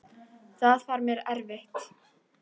Það var mér erfitt.